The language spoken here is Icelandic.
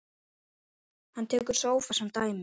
Hann tekur sófa sem dæmi.